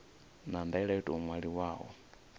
na ndaela yo tou ṅwaliwaho